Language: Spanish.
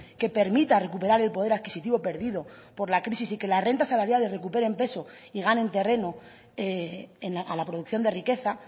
que permita recuperar el poder adquisitivo perdido por la crisis y que las rentas salariales recuperen peso y ganen terreno a la producción de riqueza